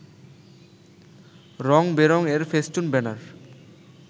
রং-বেরং এর ফেস্টুন-ব্যানার